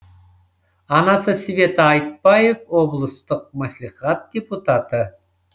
анасы света айтбаев облыстық мәслихат депутаты